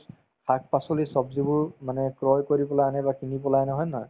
শাক-পাচলি ছব্জিবোৰ মানে ক্ৰয় কৰি পেলাই আনে বা কিনি পেলাই আনে হয় নে নহয়